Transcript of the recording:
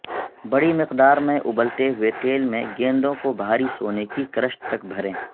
بڑی مقدار میں ابلتے ہوئے تیل میں گیندوں کو بھاری سونے کے کرسٹ تک بھریں